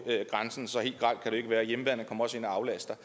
grænsen så helt grelt kan det jo ikke være og hjemmeværnet kommer også ind og aflaster